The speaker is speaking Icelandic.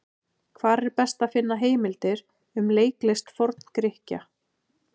Hvar er best að finna heimildir um leiklist Forn-Grikkja?